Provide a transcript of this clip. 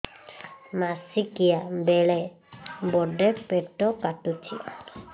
ମାସିକିଆ ବେଳେ ବଡେ ପେଟ କାଟୁଚି